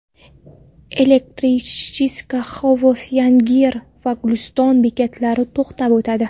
Elektrichka Xovos, Yangiyer va Guliston bekatlarida to‘xtab o‘tadi.